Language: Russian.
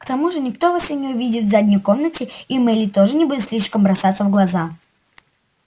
к тому же никто вас и не увидит в задней комнате и мелли тоже не будет слишком бросаться в глаза